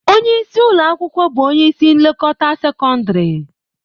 Onye isi ụlọ akwụkwọ bụ onye isi nlekọta sekọndrị.